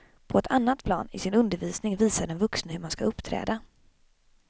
På ett annat plan, i sin undervisning, visar den vuxne hur man skall uppträda.